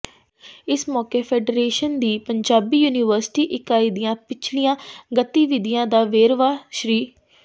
ਇਸ ਮੌਕੇ ਫੈਡਰੇਸ਼ਨ ਦੀ ਪੰਜਾਬੀ ਯੂਨੀਵਰਸਿਟੀ ਇਕਾਈ ਦੀਆਂ ਪਿਛਲੀਆਂ ਗਤੀਵਿਧੀਆਂ ਦਾ ਵੇਰਵਾ ਸ੍ਰ